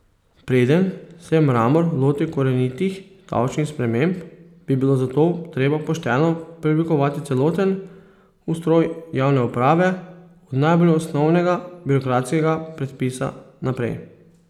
Preden se Mramor loti korenitih davčnih sprememb, bi bilo zato treba pošteno preoblikovati celoten ustroj javne uprave od najbolj osnovnega birokratskega predpisa naprej.